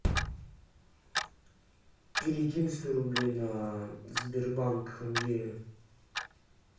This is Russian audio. перекинь сто рублей на сбербанк андрея